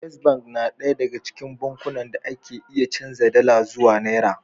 First Bank na ɗaya daga cikin bankunan da ake iya canza dala zuwa naira.